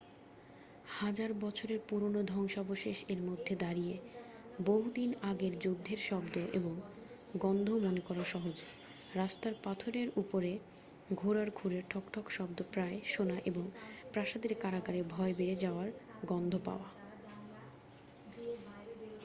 হাজার বছরের পুরানো ধ্বংসাবশেষ এর মধ্যে দাঁড়িয়ে বহু দিন আগের যুদ্ধের শব্দ এবং গন্ধ মনে করা সহজ রাস্তার পাথরের উপরে ঘোড়ার খুরের ঠকঠক শব্দ প্রায় শোনা এবং প্রাসাদের কারাগারে ভয় বেড়ে যাওয়ার গন্ধ পাওয়া